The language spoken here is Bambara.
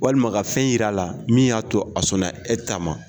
Walima ka fɛn jira a la min y'a to a sɔnna e ta ma